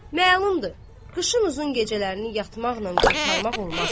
Məlumdur, qışın uzun gecələrini yatmaqla qurtarmaq olmaz.